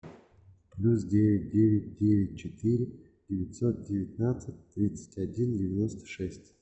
плюс девять девять девять четыре девятьсот девятнадцать тридцать один девяносто шесть